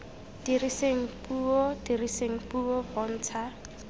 diriseng puo diriseng puo bontsha